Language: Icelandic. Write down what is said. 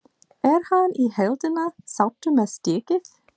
Er hann í heildina sáttur með stigið?